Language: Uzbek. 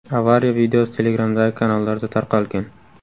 Avariya videosi Telegram’dagi kanallarda tarqalgan.